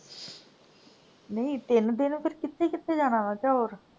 ਨਹੀਂ ਤਿੰਨ ਦਿਨ ਫੇਰ ਕਿੱਥੇ ਕਿੱਥੇ ਜਾਣਾ ਵਾ ਅੱਛਾ ਹੋਰ?